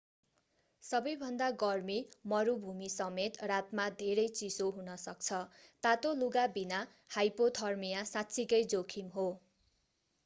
सबैभन्दा गर्मी मरुभूमि समेत रातमा धेरै चिसो हुन सक्छ तातो लुगा बिना हाइपोथर्मिया साँच्चिकै जोखिम हो